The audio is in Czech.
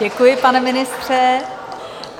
Děkuji, pane ministře.